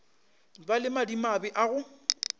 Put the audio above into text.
ba le madimabe a go